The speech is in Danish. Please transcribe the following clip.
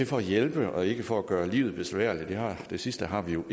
for at hjælpe og ikke for at gøre livet besværligt det sidste har vi jo